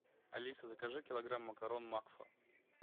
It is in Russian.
алиса закажи килограмм макарон макфа